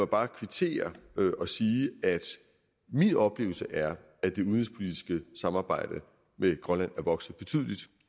bare kvittere og sige at min oplevelse er at det udenrigspolitiske samarbejde med grønland er vokset betydeligt